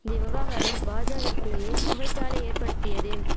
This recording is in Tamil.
தி விவகாரம் பாஜாவிற்குள்ளேயே புகைச்சாலை ஏற்படுத்தியதும்